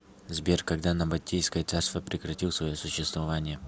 сбер когда набатейское царство прекратил свое существование